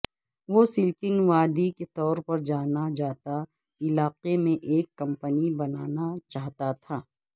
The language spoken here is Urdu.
وہ سلیکن وادی کے طور پر جانا جاتا علاقے میں ایک کمپنی بنانا چاہتا تھا